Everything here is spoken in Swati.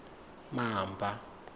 mamba